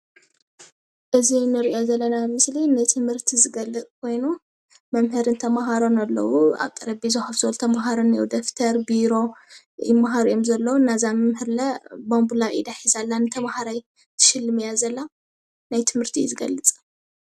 ህፃውንቲ ብመምሃሪ ሓገዛ ዝተደገፈ ትምህርቲ መምህር ተምህሮም አላ።